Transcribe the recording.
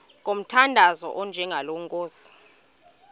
ngomthandazo onjengalo nkosi